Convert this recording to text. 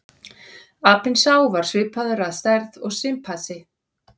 Apinn sá var svipaður að stærð og simpansi.